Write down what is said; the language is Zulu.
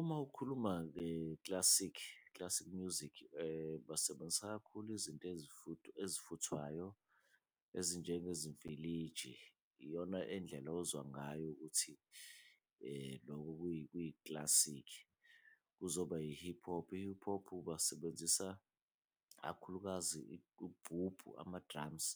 Uma ukhuluma nge-classic, classic music basebenzisa kakhulu izinto ezifuthwayo ezinjengezimfiliji. Iyona endlela ozwa ngayo ukuthi loko kuyi-classic. Kuzoba yi-hip hop, i-hip hop basebenzisa kakhulukazi ugubhubhu ama-drums